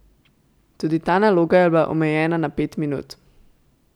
Tudi ta naloga je bila omejena na pet minut.